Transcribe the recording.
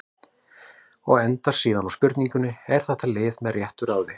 Og endar síðan á spurningunni: Er þetta lið með réttu ráði?